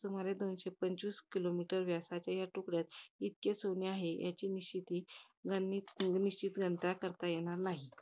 सुमारे दोनशे पंचवीस kilometers व्यासाच्या या तुकड्यात, इतके सोने आहे. त्याची निश्चिती~ निश्चित गणताही येणार नाही.